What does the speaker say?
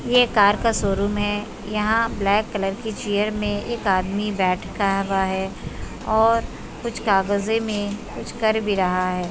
ये कार का शोरूम है यहाँ ब्लैक कलर की चेयर मे एक आदमी रहा है और कुछ कागजे में कुछ कर भी रहा है।